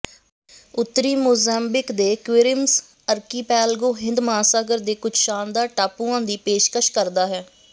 ਉੱਤਰੀ ਮੋਜ਼ੈਂਬੀਕ ਦੇ Quirimbas archipelago ਹਿੰਦ ਮਹਾਂਸਾਗਰ ਦੇ ਕੁਝ ਸ਼ਾਨਦਾਰ ਟਾਪੂਆਂ ਦੀ ਪੇਸ਼ਕਸ਼ ਕਰਦਾ ਹੈ